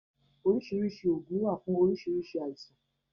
Orisirisi oògùn wá fún orisirisii àìsàn.